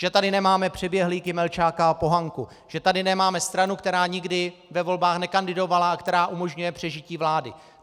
Že tady nemáme přeběhlíky Melčáka a Pohanku, že tady nemáme stranu, která nikdy ve volbách nekandidovala a která umožňuje přežití vlády.